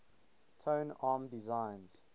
tone arm designs